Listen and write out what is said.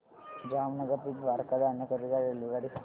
जामनगर ते द्वारका जाण्याकरीता रेल्वेगाडी सांग